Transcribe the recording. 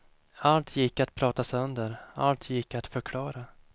Allt gick att prata sönder, allt gick att förklara.